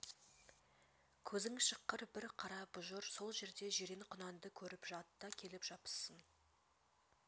көзің шыққыр бір қара бұжыр сол жерде жирен құнанды көрп жат та келіп жабыссын